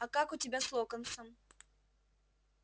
а как у тебя с локонсом